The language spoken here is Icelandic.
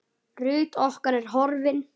Ruth okkar er horfin.